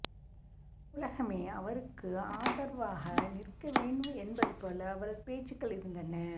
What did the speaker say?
உலகமே அவருக்கு ஆதரவாக நிற்க வேண்டும் என்பது போல அவரது பேச்சுக்கள் இருந்தன